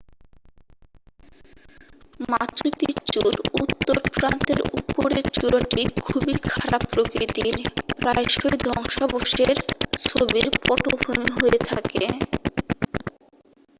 মাচু পিচ্চুর উত্তর প্রান্তের উপরের চূড়াটি খুবই খাড়া প্রকৃতির প্রায়শই ধ্বংসাবশেষের ছবির পটভূমি হয়ে থাকে